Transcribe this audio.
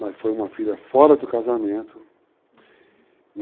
Mas foi uma filha fora do casamento. Uhum.